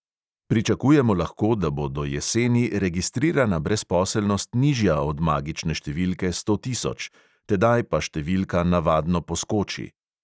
Pričakujemo lahko, da bo do jeseni registrirana brezposelnost nižja od magične številke sto tisoč, tedaj pa številka navadno poskoči.